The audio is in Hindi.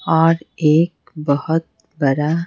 और एक बहुत बड़ा।